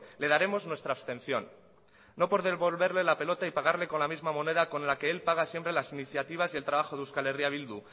le daremos nuestra abstención no por devolverle la pelota y pagarle con la misma moneda con la que él paga siempre las iniciativas y el trabajo de eh bildu